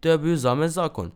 To je bil zame zakon.